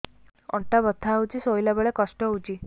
ଅଣ୍ଟା ବଥା ହଉଛି ଶୋଇଲା ବେଳେ କଷ୍ଟ ହଉଛି